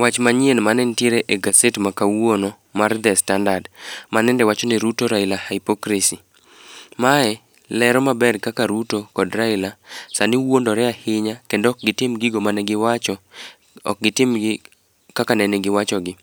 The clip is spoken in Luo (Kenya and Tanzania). Wach manyien manentiere e gaset ma kawuono mar The Standard ma nende owach ni Ruto -Raila hypocracy. Mae lero maber kaka Ruto kod Raila sani wuondore ahinya ,kendo ok gitim gigo manegiwacho ,ok gitim kaka nene giwacho gi.